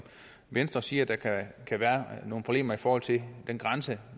venstre siger der kan være nogle problemer i forhold til den grænse